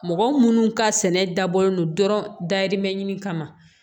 Mɔgɔ minnu ka sɛnɛ dabɔlen don dɔrɔn dayirimɛ ɲini kama